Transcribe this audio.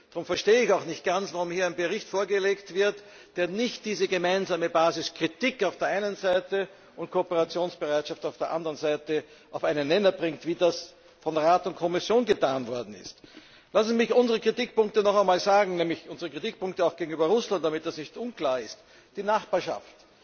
Darum verstehe ich auch nicht ganz, warum hier ein Bericht vorgelegt wird, der nicht diese gemeinsame Basis Kritik auf der einen Seite und Kooperationsbereitschaft auf der anderen Seite auf einen Nenner bringt, wie das von Rat und Kommission getan worden ist. Lassen Sie mich unsere Kritikpunkte nochmals sagen, nämlich unsere Kritikpunkte auch gegenüber Russland, damit das nicht unklar ist Die Nachbarschaft.